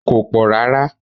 It's not that much